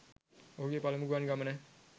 ඔහුගේ පළමු ගුවන් ගමන.